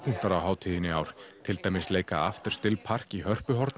á hátíðinni í ár til dæmis leika After still park í